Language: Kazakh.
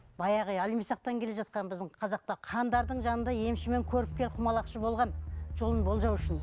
баяғы иә әлімсақтан келе жатқан біздің қазақта хандардың жанында емші мен көріпкел құмалақшы болған жолын болжау үшін